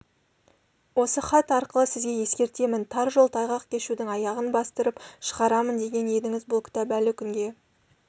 осы хат арқылы сізге ескертемін тар жол тайғақ кешудің аяғын бастырып шығарамын деген едіңіз бұл кітап әлі күнге